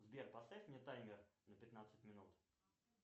сбер поставь мне таймер на пятнадцать минут